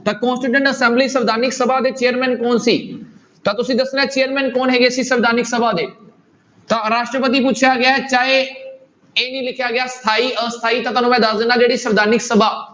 ਤਾਂ constituent assembly ਸੰਵਿਧਾਨਕ ਸਭਾ ਦੇ chairman ਕੌਣ ਸੀ ਤਾਂ ਤੁਸੀਂ ਦੱਸਣਾ ਹੈ chairman ਕੌਣ ਹੈਗੇ ਸੀ ਸੰਵਿਧਾਨਕ ਸਭਾ ਦੇ, ਤਾਂ ਰਾਸ਼ਟਰਪਤੀ ਪੁੱਛਿਆ ਗਿਆ ਹੈ ਚਾਹੇ ਇਹ ਨੀ ਲਿਖਿਆ ਗਿਆ ਸਥਾਈ ਅਸਥਾਈ ਤਾਂ ਤੁਹਾਨੂੰ ਮੈਂ ਦੱਸ ਦਿਨਾ ਜਿਹੜੀ ਸਵਿਧਾਨਕ ਸਭਾ